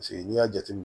Paseke n'i y'a jateminɛ